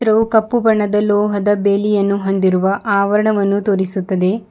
ರೌ ಕಪ್ಪು ಬಣ್ಣದ ಲೋಹದ ಬೇಲಿಯನ್ನು ಹೊಂದಿರುವ ಆವರಣವನ್ನು ತೋರಿಸುತ್ತದೆ.